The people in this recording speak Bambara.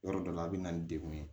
Yɔrɔ dɔ la a bɛ na ni degun ye